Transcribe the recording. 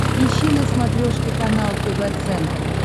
ищи на смотрешке канал тв центр